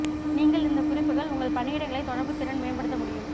நீங்கள் இந்த குறிப்புகள் உங்கள் பணியிடங்களை தொடர்பு திறன் மேம்படுத்த முடியும்